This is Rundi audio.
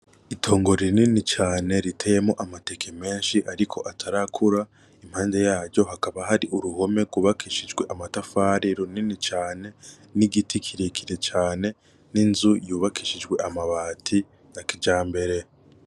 Itongo rinini cane riteyemwo amateke menshi ariko atarakura, impande yaryo hakaba hari uruhome rwubakishije amatafari runini cane n'igiti kirekire cane, ninzu yubakishijwe amabati nakijambere.